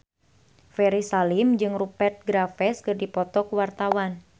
Ferry Salim jeung Rupert Graves keur dipoto ku wartawan